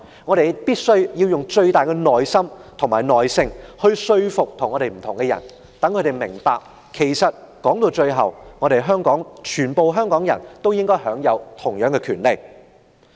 我們必須用最大的耐性，說服那些意見跟我們不同的人，讓他們明白到，其實每一位香港人也應可享有同樣的權利。